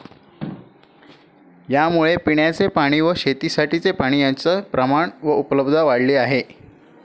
यामुळे पिण्याचे पाणी व शेतीसाठीची पाणी यांचे प्रमाण व उपलब्धता वाढली आहे.